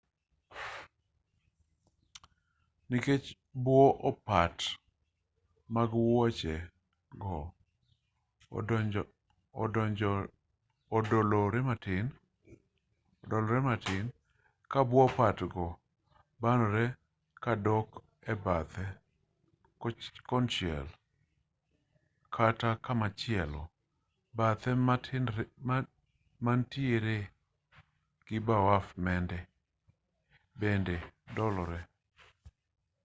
nikech bwo opat mag wuoche go odolore matin ka bwo opat go banore ka dok e bathe konchiel kata komachielo bathe ma manitiere e wi baraf bende dolore